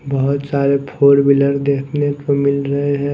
बहोत सारे four wheeler देखने को मिल रहे हैं।